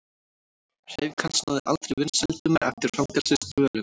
Hreyfing hans náði aldrei vinsældum eftir fangelsisdvölina.